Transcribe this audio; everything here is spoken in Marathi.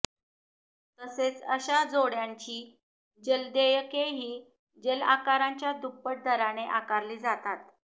तसेच अशा जोडण्यांची जलदेयके ही जलआकाराच्या दुप्पट दराने आकारली जातात